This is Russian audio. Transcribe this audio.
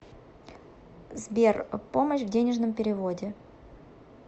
сбер помощь в денежном переводе